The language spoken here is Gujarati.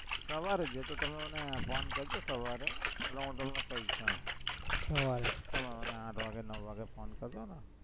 સવારે એ તો તમે phone કરજો સવારે એટલે કઇશ હમ સવારે તમે મને આઠ વાગે નવ વાગે phone કરજો ને